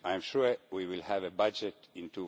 I am sure we will have a budget in